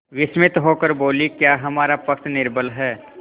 विस्मित होकर बोलीक्या हमारा पक्ष निर्बल है